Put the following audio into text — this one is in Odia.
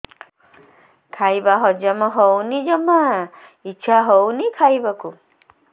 ଖାଇବା ହଜମ ହଉନି ଜମା ଇଛା ହଉନି ଖାଇବାକୁ